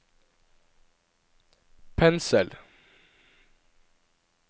pensel